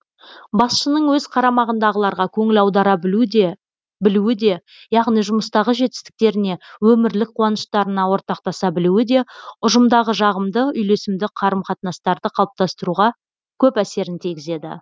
басшының өз қарамағындағыларға көңіл аудара білуі де яғни жұмыстағы жетістіктеріне өмірлік қуаныштарына ортақтаса білуі де ұжымдағы жағымды үйлесімді қарым қатынастарды қалыптастыруға көп әсерін тигізеді